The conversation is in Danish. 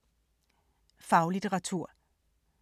Faglitteratur